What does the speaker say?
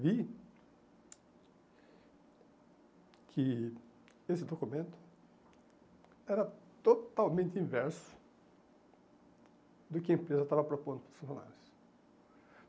Vi que esse documento era totalmente inverso do que a empresa estava propondo para os funcionários.